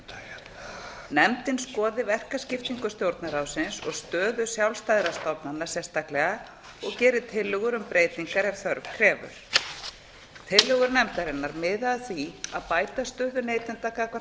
fjármálafyrirtækjum nefndin skoði verkaskiptingu stjórnarráðsins og stöðu sjálfstæðra stofnana sérstaklega og geri tillögur um breytingar ef þörf krefur tillögur nefndarinnar miði að því að bæta stöðu neytenda gagnvart